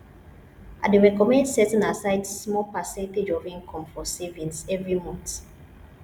i dey recommend setting aside small percentage of income for savings every month